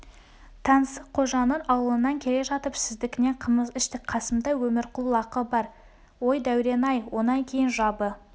таңсыққожаның аулынан келе жатып сіздікінен қымыз іштік қасымда өмірқұл лаққы бар ой дәурен-ай онан кейін жабы